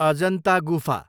अजन्ता गुफा